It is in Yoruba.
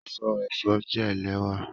Aṣọ aṣọ jẹ lẹwa